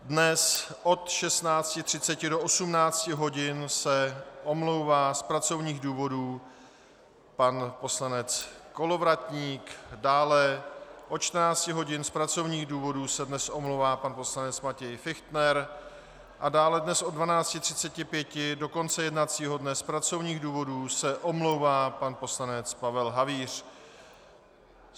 Dnes od 16.30 do 18 hodin se omlouvá z pracovních důvodů pan poslanec Kolovratník, dále od 14 hodin z pracovních důvodů se dnes omlouvá pan poslanec Matěj Fichtner a dále dnes od 12.35 do konce jednacího dne z pracovních důvodů se omlouvá pan poslanec Pavel Havíř.